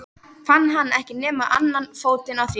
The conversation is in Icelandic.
Fann hann ekki nema annan fótinn á þér?